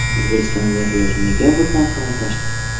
O‘zbekistonda piyoz nega birdan qimmatlashdi?